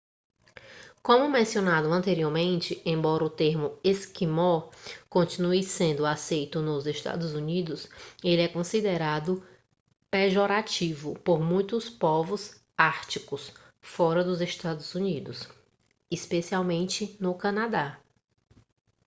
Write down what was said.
como mencionado anteriormente embora o termo esquimó continue sendo aceito nos eua ele é considerado pejorativo por muitos povos árticos fora dos eua especialmente no canadá